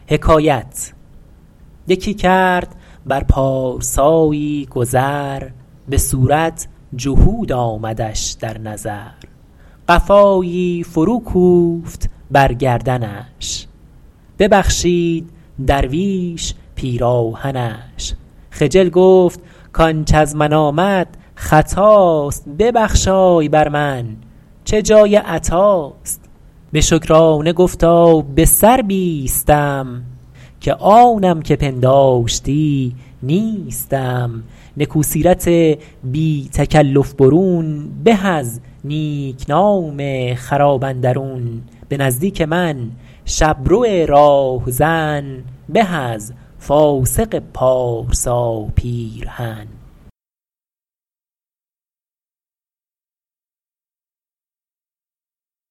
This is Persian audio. یکی کرد بر پارسایی گذر به صورت جهود آمدش در نظر قفایی فرو کوفت بر گردنش ببخشید درویش پیراهنش خجل گفت کانچ از من آمد خطاست ببخشای بر من چه جای عطاست به شکرانه گفتا به سر بیستم که آنم که پنداشتی نیستم نکو سیرت بی تکلف برون به از نیکنام خراب اندرون به نزدیک من شبرو راهزن به از فاسق پارسا پیرهن